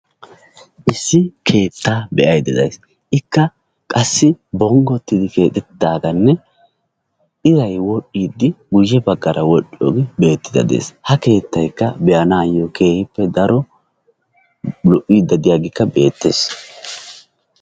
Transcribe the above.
Issi keetta be'aydda days, ikka qassi bonggotiddi keexxetidaaganne iray woxxidi guyye baggara wodhdhiyooge beettide de'ees. ha keettay be'anayyo keehippe daro lo''idi diyaageekkabbeettees.